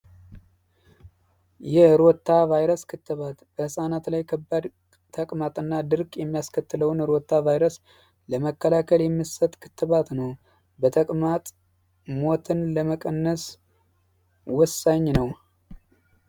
የሮታ ቫይረስ ክትባት ለህፃናት ላይ ድርቀትና ተቅማጥ የሚያስከትለውን የሮታ ቫይረስ ለመከላከል የሚሰጥ ክትባት ነው የተቅማጥ ሞትን ለመቀነስ ወሳኝ ነው።